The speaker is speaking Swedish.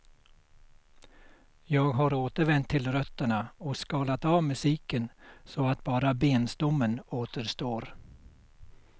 Jag har återvänt till rötterna och skalat av musiken så att bara benstommen återstår.